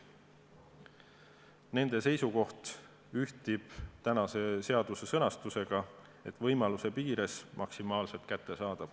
Nende seisukoht ühtib tänase seaduse sõnastusega, et olgu võimaluse piires maksimaalselt kättesaadav.